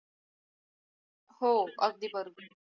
हो अगदी बरोबर